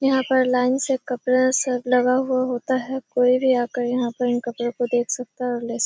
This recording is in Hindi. यहाँ पर लाइन से कपड़ा सब लगा हुआ होता है। कोई भी आकर यहाँ पर इन कपड़ो को देख सकता है और ले सक --